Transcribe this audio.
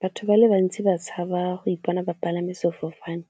Batho ba le bantsi ba tshaba go ipona ba palame sefofane